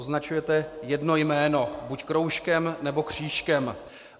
Označujete jedno jméno buď kroužkem, nebo křížkem.